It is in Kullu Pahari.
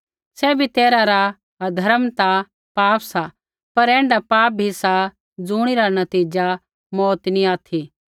सैभी तैरहै रा अधर्म ता पाप सा पर ऐण्ढा पाप भी सा ज़ुणिरा नतीज़ा मौऊत नैंई ऑथि